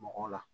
Mɔgɔw la